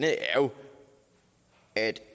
er jo at